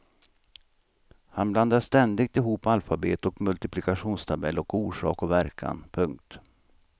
Han blandar ständigt ihop alfabet och multiplikationstabell och orsak och verkan. punkt